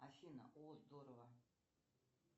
афина о здорово